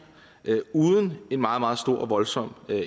uden en meget meget stor og voldsom